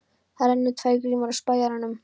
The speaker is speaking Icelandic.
Það renna tvær grímur á spæjarann.